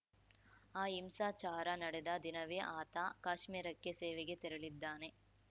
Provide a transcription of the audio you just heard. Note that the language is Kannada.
ಆ ಹಿಂಸಾಚಾರ ನಡೆದ ದಿನವೇ ಆತ ಕಾಶ್ಮೀರಕ್ಕೆ ಸೇವೆಗೆ ತೆರಳಿದ್ದಾನೆ